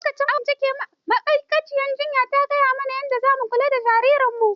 Lokacin awon ciki ma'aikaciyar jinya ta gaya mana yadda zamu kula da jariran mu.